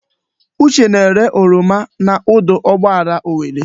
Uche na-ere oroma n'ọdụ ụgbọala Owerre.